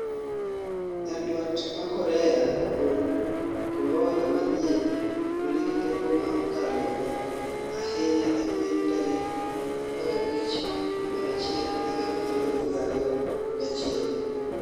Nyandwat ma Korea ogolo kombora manyien manigi teko ma okalo ahinya e piny tarik 15 Januari 2021